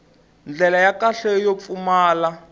ndlela ya kahle yo pfumala